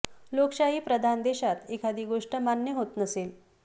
लोकशाही प्रधान देशात एखादी गोष्ट मान्य होत नसेल